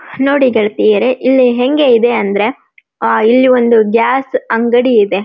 ನೋಡಿ ಗೆಳತಿಯರೆ ಇಲ್ಲಿ ಹೆಂಗೆ ಇದೆ ಅಂದರೆ ಆಹ್ಹ್ ಇಲ್ಲಿ ಒಂದು ಗ್ಯಾಸ್ ಅಂಗಡಿ ಇದೆ .